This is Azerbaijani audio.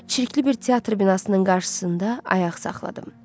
Çirkli bir teatr binasının qarşısında ayaq saxladım.